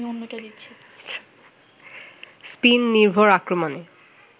spin নির্ভর আক্রমণে